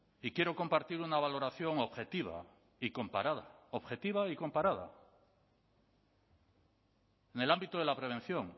y quiero compartir una valoración objetiva y comparada objetiva y comparada en el ámbito de la prevención